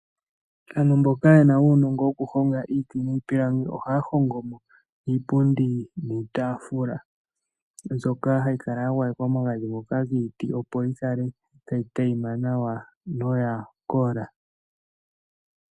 Aantu mboka yena uunongo woku honga iiti niipilangi oha hongo mo iipundi niitafula. Mbyoka hayi kala ya gwayekwa omagadhi ngoka giiti opo yikale tayi tayima nawa noya kola.